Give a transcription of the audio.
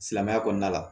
Silamɛya kɔnɔna la